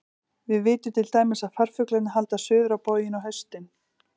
Við vitum til dæmis að farfuglarnir halda suður á bóginn á haustin.